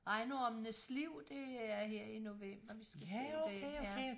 Regnormenes liv det er her i november vi skal se det ja